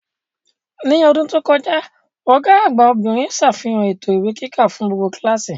Ní ọdún tó kọjá, Ọ̀gá àgbà obìnrin sàfihàn ètò ìwé kíkà fún gbogbo kíláàsì